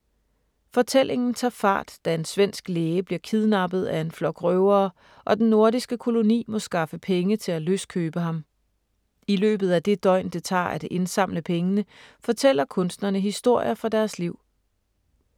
Fortællingen tager fart, da en svensk læge bliver kidnappet af en flok røvere og den nordiske koloni må skaffe penge til at løskøbe ham. I løbet af det døgn, det tager at indsamle pengene, fortæller kunstnerne historier fra deres liv.